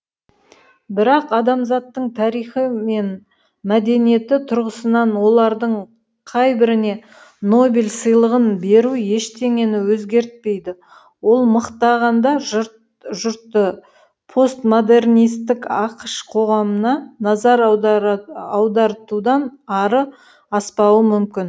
бірақ адамзаттың тарихы мен мәдениеті тұрғысынан олардың қай біріне нобель сыйлығын беру ештеңені өзгертпейді ол мықтағанда жұртты постмодернистік ақш қоғамына назар аудартудан ары аспауы мүмкін